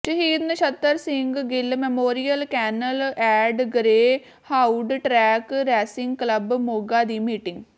ਸ਼ਹੀਦ Nachhattar Singh Gill memorial canal and greyhound track racing club Moga ਦੀ meeting